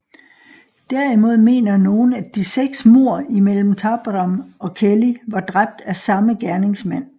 Derimod mener nogle at de seks mord imellem Tabram og Kelly var dræbt af samme gerningsmand